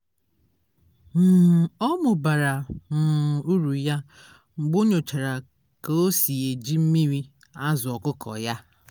um ọ mụbara um uru ya mgbe o nyochara ka o si eji mmiri azụ ọkụkọ ya